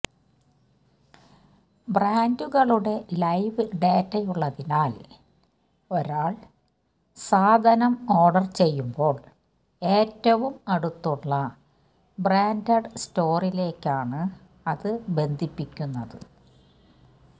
ബ്രാൻഡുകളുടെ ലൈവ് ഡേറ്റയുള്ളതിനാൽ ഒരാൾ സാധനം ഓർഡർ ചെയ്യുമ്പോൾ ഏറ്റവും അടുത്തുള്ള ബ്രാൻഡഡ് സ്റ്റോറിലേക്കാണ് അതു ബന്ധിപ്പിക്കുന്നത്